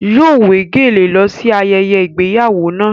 Yóò wé gèlè lọ sí ayẹyẹ ìgbéyàwó náà.